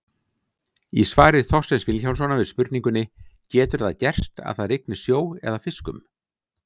Í svari Þorsteins Vilhjálmssonar við spurningunni Getur það gerst að það rigni sjó eða fiskum?